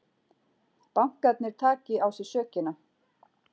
Bankarnir taki á sig sökina